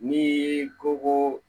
Ni ko ko